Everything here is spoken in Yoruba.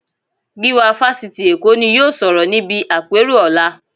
Gíwá Fásitì Èkó ni yóò sọ̀rọ̀ níbi àpérò ọ̀la